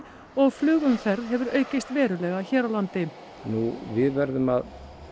og flugumferð hefur hefur aukist verulega hér á landi nú við verðum að